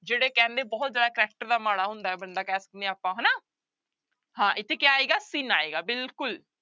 ਜਿਹੜੇ ਕਹਿੰਦੇ ਬਹੁਤ ਜ਼ਿਆਦਾ character ਦਾ ਮਾੜਾ ਹੁੰਦਾ ਹੈ ਬੰਦਾ ਕਹਿ ਸਕਦੇ ਹਾਂ ਆਪਾਂ ਹਨਾ ਹਾਂ ਇੱਥੇ ਕਿਆ ਆਏਗਾ sin ਆਏਗਾ ਬਿਲਕੁਲ।